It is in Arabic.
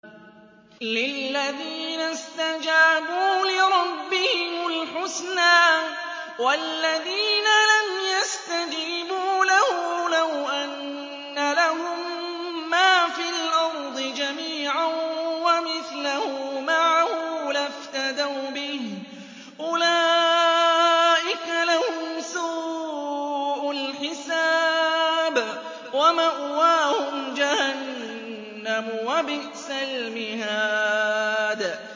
لِلَّذِينَ اسْتَجَابُوا لِرَبِّهِمُ الْحُسْنَىٰ ۚ وَالَّذِينَ لَمْ يَسْتَجِيبُوا لَهُ لَوْ أَنَّ لَهُم مَّا فِي الْأَرْضِ جَمِيعًا وَمِثْلَهُ مَعَهُ لَافْتَدَوْا بِهِ ۚ أُولَٰئِكَ لَهُمْ سُوءُ الْحِسَابِ وَمَأْوَاهُمْ جَهَنَّمُ ۖ وَبِئْسَ الْمِهَادُ